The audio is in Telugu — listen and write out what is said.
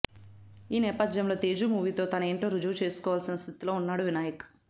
ఈ నేపథ్యంలో తేజు మూవీతో తనేంటో రుజువు చేసుకోవాల్సిన స్థితిలో ఉన్నాడు వినాయక్